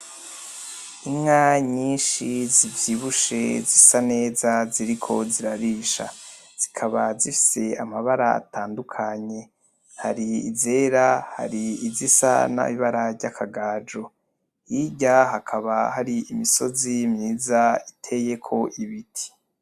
Inka nyinshi zivyibushe zisa neza ziriko zirarisha, zikaba zifise amabara atandukanye. Hari izera, hari izisa n'ibara ry'akagajo. Hirya hakaba hari imisozi myiza iteyeko ibiti.